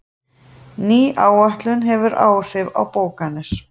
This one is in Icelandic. Ný áætlun hefur áhrif á bókanir